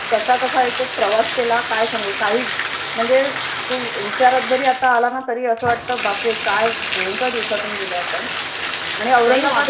कसा कसा एकतर प्रवास केला काय सांगू काही म्हणजे तो विचार जरी आला ना असं वाटतं बापरे काय भयंकर दिवसातून गेलोय आपण आणि औरंगाबादला पण आणि